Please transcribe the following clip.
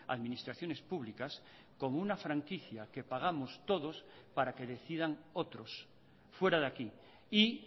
administraciones públicas como una franquicia que pagamos todos para que decidan otros fuera de aquí y